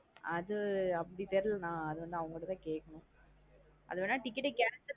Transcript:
அது அப்டி தெர்லா நா அது வந்து அவுங்கட தான் கேக்கணும். அது வேணா ticket ஆ cancel பண்ணி